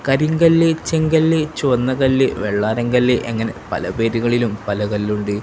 കരിങ്കല്ല് ചെങ്കല്ല് ചുവന്നകല്ല് വെള്ളാരംകല്ല് അങ്ങനെ പല പേരുകളിലും പല കല്ലുണ്ട്.